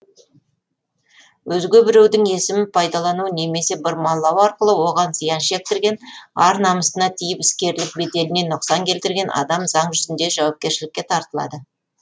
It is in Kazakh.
өзге біреудің есімін пайдалану немесе бұрмалау арқылы оған зиян шектірген ар намысына тиіп іскерлік беделіне нұқсан келтірген адам заң жүзінде жауапкершілікке тартылады